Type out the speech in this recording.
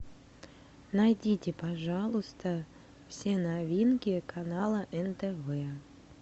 найдите пожалуйста все новинки канала нтв